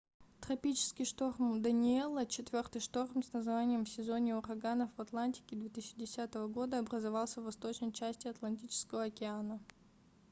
тропический шторм даниэлла четвёртый шторм с названием в сезоне ураганов в атлантике 2010 года образовался в восточной части атлантического океана